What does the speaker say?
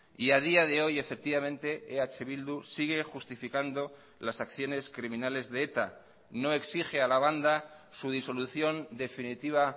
y a día de hoy efectivamente eh bildu sigue justificando las acciones criminales de eta no exige a la banda su disolución definitiva